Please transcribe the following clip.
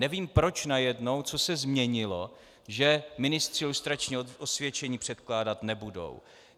Nevím, proč najednou, co se změnilo, že ministři lustrační osvědčení předkládat nebudou.